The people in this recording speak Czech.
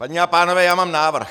Paní a pánové, já mám návrh.